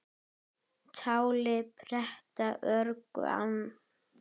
Táli pretta örgu ann